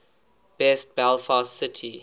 best belfast city